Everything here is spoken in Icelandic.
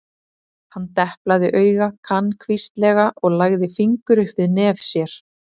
Hann deplaði auga kankvíslega og lagði fingur upp við nef sér.